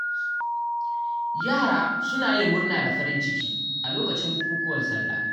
Yara suna yin murna da farin ciki a lokacin bukukuwan Sallah.